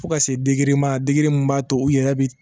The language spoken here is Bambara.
Fo ka se ma min b'a to u yɛrɛ bi